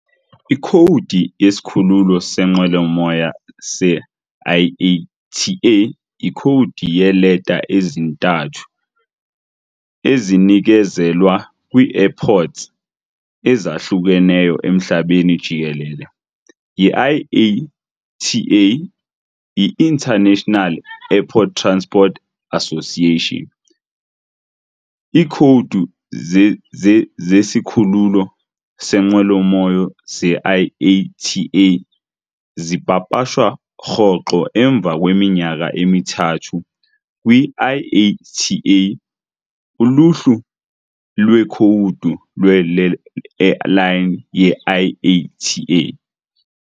Ikhowudi yesikhululo seenqwelomoya se-IATA yikhowudi yeeleta ezintathu ezinikezelwa kwii-airports ezahlukeneyo emhlabeni jikelele yi-IATA, I-International Air Transport "Association". Iikhowudi zesikhululo seenqwelomoya ze-IATA zipapashwa rhoqo emva kweminyaka emithathu kwi- "IATA Uluhlu lweeKhowudi lwe-Airline ye-IATA".